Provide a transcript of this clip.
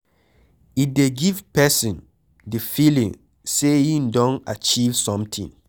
E dey give person di feeling sey im don achive something